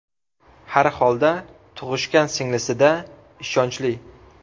Har holda tug‘ishgan singlisi-da, ishonchli.